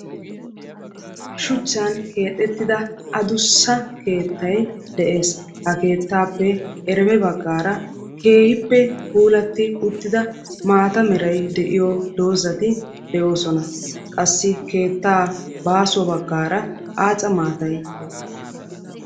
Shuchchan keexettida adussa keettay de'es. Ha keettaappe ereme baggaara keehippe puulatti uttida maata meray de'iyo dozati de'oosona. Qassi keettaa baaso baggaara aaca maatay de'es.